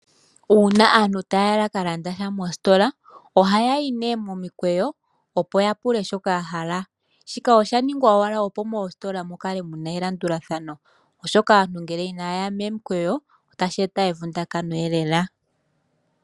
Uuna aantu taya ka landa sha moositola, ohayayi momikweyo opo yapule shoka yahala. Shika osha ningwa owala opo moositola mukale muna elandulathano, oshoka aantu ngele ina yaya momikweyo otashi eta evundakano lela.